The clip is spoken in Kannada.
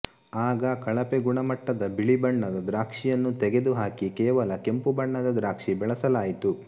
ಆಗ ಕಳಪೆ ಗುಣಮಟ್ಟದ ಬಿಳಿ ಬಣ್ಣದ ದ್ರಾಕ್ಷಿಯನ್ನು ತೆಗೆದು ಹಾಕಿ ಕೇವಲ ಕೆಂಪು ಬಣ್ಣದ ದ್ರಾಕ್ಷಿ ಬೆಳೆಸಲಾಯಿತು